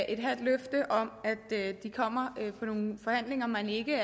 et halvt løfte om at de kommer efter nogle forhandlinger man ikke